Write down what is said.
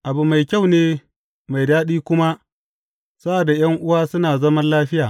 Abu mai kyau ne, mai daɗi kuma sa’ad da ’yan’uwa suna zaman lafiya!